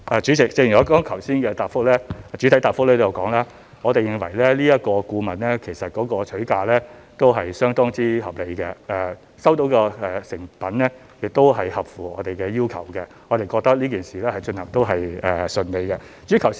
主席，正如我剛才在主體答覆中已提到，我們認為這個顧問的取價相當合理，收到的成品亦合乎我們的要求，我們覺得這件事情也順利進行。